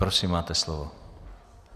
Prosím, máte slovo.